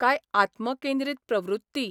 काय आत्मकेंद्रीत प्रवृत्ती?